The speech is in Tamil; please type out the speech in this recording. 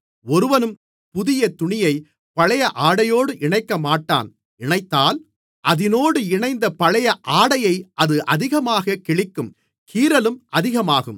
ஒருவனும் புதிய துணியை பழைய ஆடையோடு இணைக்கமாட்டான் இணைத்தால் அதினோடு இணைத்த பழைய ஆடையை அது அதிகமாகக் கிழிக்கும் கீறலும் அதிகமாகும்